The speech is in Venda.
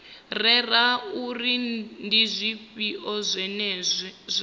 rere uri ndi zwifhio zwine